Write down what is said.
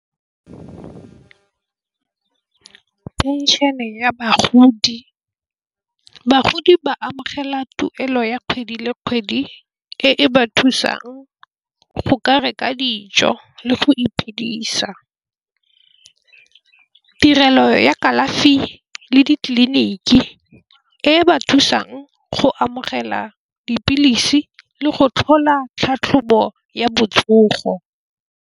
Phenšhene ya bagodi. Bagodi ba amogela tuelo ya kgwedi le kgwedi e ba thusang go ka reka dijo le go iphedisa. Tirelo ya kalafi le ditleliniki e ba thusang go amogela dipilisi le go tlhola tlhatlhobo ya botsogo.